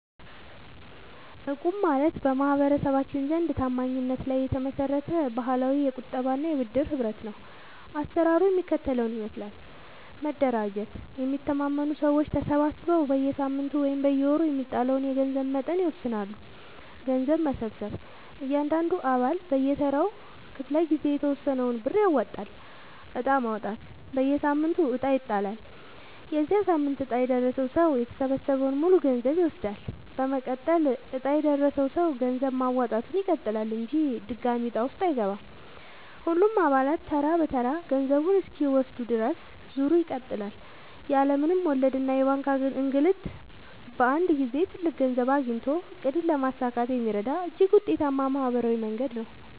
እቁብ ማለት በማህበረሰባችን ዘንድ ታማኝነት ላይ የተመሰረተ ባህላዊ የቁጠባና የብድር ህብረት ነው። አሰራሩ የሚከተለውን ይመስላል፦ መደራጀት፦ የሚተማመኑ ሰዎች ተሰባስበው በየሳምንቱ ወይም በየወሩ የሚጣለውን የገንዘብ መጠን ይወስናሉ። ገንዘብ መሰብሰብ፦ እያንዳንዱ አባል በየተራው ክፍለ-ጊዜ የተወሰነውን ብር ያዋጣል። ዕጣ ማውጣት፦ በየሳምንቱ ዕጣ ይጣላል። የዚያ ሳምንት ዕጣ የደረሰው ሰው የተሰበሰበውን ሙሉ ገንዘብ ይወስዳል። መቀጠል፦ ዕጣ የደረሰው ሰው ገንዘብ ማዋጣቱን ይቀጥላል እንጂ ድጋሚ ዕጣ ውስጥ አይገባም። ሁሉም አባላት ተራ በተራ ገንዘቡን እስኪወስዱ ድረስ ዙሩ ይቀጥላል። ያለ ምንም ወለድና የባንክ እንግልት በአንድ ጊዜ ትልቅ ገንዘብ አግኝቶ ዕቅድን ለማሳካት የሚረዳ እጅግ ውጤታማ ማህበራዊ መንገድ ነው።